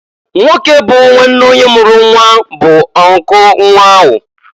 Nwoke bụ nwanne onye mụrụ nnwa bu uncle nnwa ahụ.